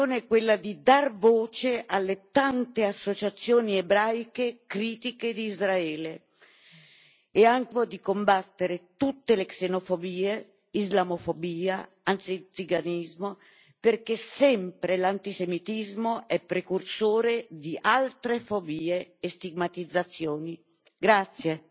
La nostra intenzione è quella di dar voce alle tante associazioni ebraiche critiche di Israele, è anche il tentativo di combattere tutte le xenofobie, islamofobia, antiziganismo perché l'antisemitismo è sempre precursore di altre fobie e stigmatizzazioni.